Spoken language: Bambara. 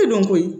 E dɔnko ye